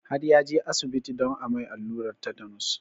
Har ya je asibiti don a mai alluran tetanus